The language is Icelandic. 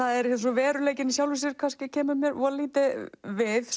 veruleikinn í sjálfu sér kemur mér voða lítið við